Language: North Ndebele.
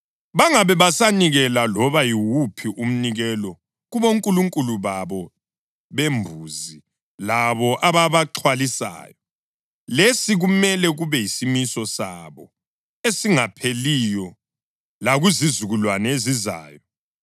Bangabe besanikela loba yiwuphi umnikelo kubonkulunkulu babo bembuzi labo ababaxhwalisayo. Lesi kumele kube yisimiso sabo esingapheliyo lakuzizukulwane ezizayo.’